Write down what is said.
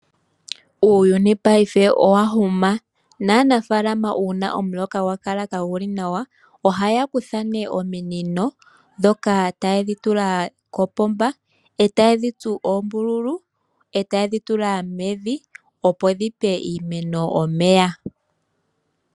Uuyuni paife owa huma. Naanafaalama uuna omuloka gwa kala kagu li nawa ohaya kutha nee ominino ndhoka taye dhi tula kopomba e taye dhi tsu oombululu e taye dhi tula mevi, opo dhi pe iimeno omeya.